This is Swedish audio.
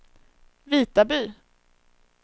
Vitaby